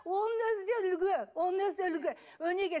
оның өзі де үлгі оның өзі де үлгі өнеге